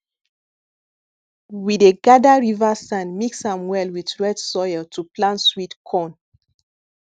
we dey gather river sand mix am well with red soil to plant sweet corn